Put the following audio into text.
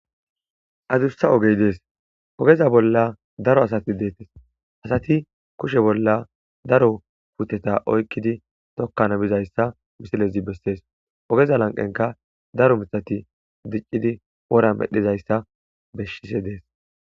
Adussa ogey dees. Ogaza bolla daro asi deettes. Asati kushe bolla daro puuteta oykkidi tokkana bizayssa misilezi besses. Ogeza lanqenkka daro miththati diccidi wora medhdhizayssa bessishe dees.